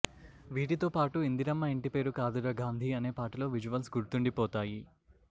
వీటితో పాటు ఇందిరమ్మ ఇంటి పేరు కాదుర గాంధీ అనే పాటలో విజువల్స్ గుర్తుండిపోతాయి